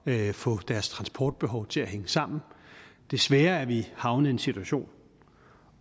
ved at få deres transportbehov til at hænge sammen desværre er vi havnet i en situation